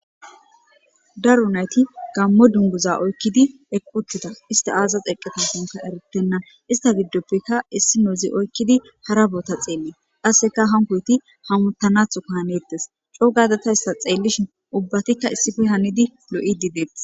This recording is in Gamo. Daru nayti gammo dunguza oykkidi equtita ista aazaz eqqeta sunka erittenna ista giddoppeka issi noozi oykkidi hara boota xeelli qasseka hankoyti hamutanatho ka hanettes co gadata issa xeellishin ubbatikka issife hanidi lo7i dideet.